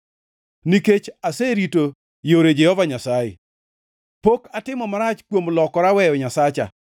Nikech aserito yore Jehova Nyasaye; pok atimo marach kuom lokora weyo Nyasacha.